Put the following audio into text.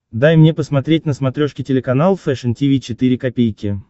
дай мне посмотреть на смотрешке телеканал фэшн ти ви четыре ка